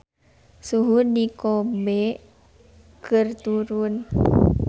Suhu di Kobe keur turun